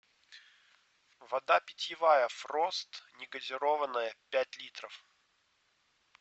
вода питьевая фрост негазированная пять литров